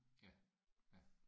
Ja ja